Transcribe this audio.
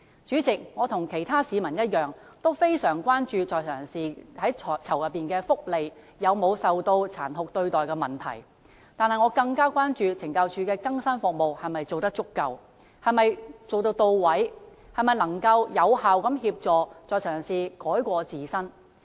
主席，我與其他市民一樣，非常關注在囚人士的福利及有否受到殘酷對待的問題，但我更關注懲教署的更生服務是否做得足夠、到位，能否有效協助在囚人士改過自新。